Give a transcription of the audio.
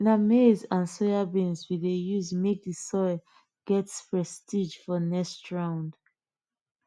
na maize and soybean we dey use make the soil get prestige for next round